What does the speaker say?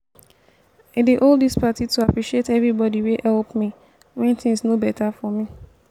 i dey hold dis party to appreciate everybody wey help me wen things no beta for me